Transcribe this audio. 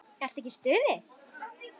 Ertu ekki í stuði?